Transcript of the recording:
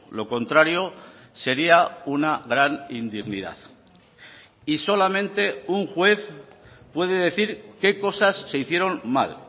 lo contrario sería una gran indignidad y solamente un juez puede decir qué cosas se hicieron mal